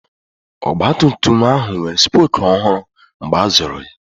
Ọgbatumtum ahụ nwere spoku ọhụrụ mgbe a zụrụ ya.